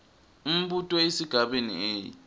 umbuto esigabeni a